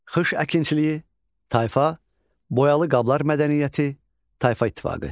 Xış əkinçiliyi, tayfa, boyalı qablar mədəniyyəti, tayfa ittifaqı.